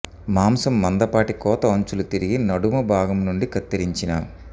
మాంసం మందపాటి కోత అంచులు తిరిగి నడుము భాగం నుండి కత్తిరించిన